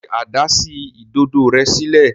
Ṣe Ada sí Ìdodo rẹ sílẹ̀?